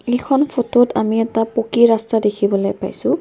এইখন ফটোত আমি এটা পকী ৰাস্তা দেখিবলৈ পাইছোঁ।